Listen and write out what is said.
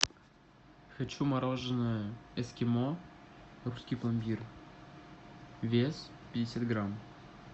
хочу мороженое эскимо русский пломбир вес пятьдесят грамм